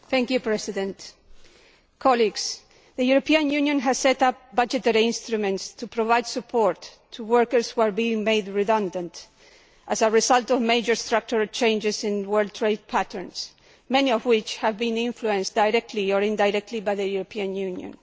Mr President, the European Union has set up budgetary instruments to provide support to workers who are being made redundant as a result of major structural changes in world trade patterns, many of which have been influenced directly or indirectly by the European Union.